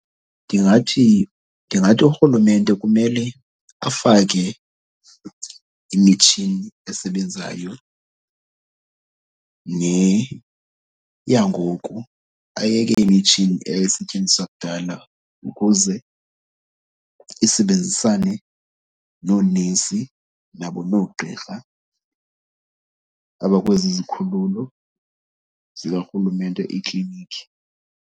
Ndingathi, ndingathi urhulumente kumele afake imitshini esebenzayo neyangoku. Ayeke imitshini eyayisetyenziswa kudala ukuze isebenzisane noonesi nabo noogqirha abakwezi zikhululo zikarhulumente, iiklinikhi.